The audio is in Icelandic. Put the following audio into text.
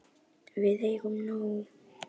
Við eigum nóg.